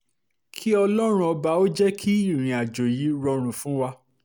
kí ọlọ́run ọba jẹ́ kí ìrìnàjò yìí rọrùn fún wa